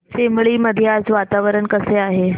चिंबळी मध्ये आज वातावरण कसे आहे